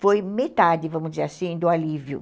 foi metade, vamos dizer assim, do alívio.